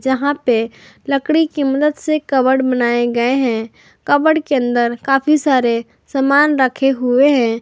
जहाँ पे लकड़ी के मदद से कबड बनाए गए हैं कबड के अंदर काफी सारे समान रखे हुए हैं।